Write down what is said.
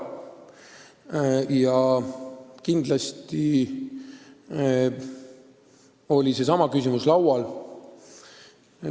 Ja muidugi oli ka seesama küsimus laual.